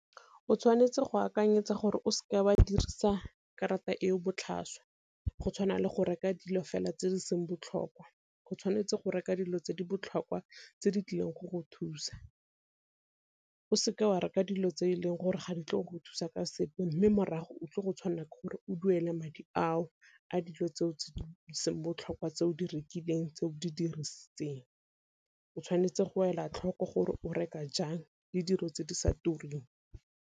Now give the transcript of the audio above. O tshwanetse go akanyetsa gore o seke wa dirisa karata e o botlhaswa go tshwana le go reka dilo fela tse di seng botlhokwa, o tshwanetse go reka dilo tse di botlhokwa tse di tlileng go go thusa. O seke wa reka dilo tse e leng gore ga di tle go go thusa ka sepe mme morago o tlile go tshwanelwa ke gore o duele madi ao a dilo tse seng botlhokwa tse o di rekileng tse o di dirisitseng, o tshwanetse go ela tlhoko gore o reka jang le dilo tse di sa tureng.